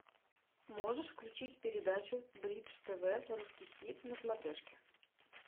можешь включить передачу бридж тв русский хит на смотрешке